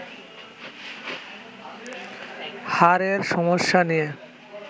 হাড়ের সমস্যা নিয়ে